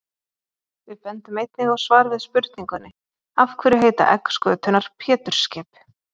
Við bendum einnig á svar við spurningunni Af hverju heita egg skötunnar Pétursskip?